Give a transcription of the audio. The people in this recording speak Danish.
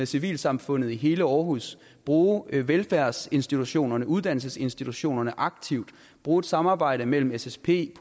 civilsamfundet i hele aarhus bruge velfærdsinstitutionerne og uddannelsesinstitutionerne aktivt bruge et samarbejde mellem ssp